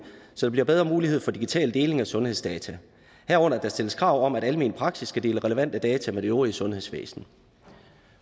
så der bliver bedre mulighed for digital deling af sundhedsdata herunder at der stilles krav om at almen praksis skal dele relevante data med det øvrige sundhedsvæsen